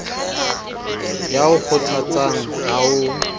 ya o kgothatsang ha o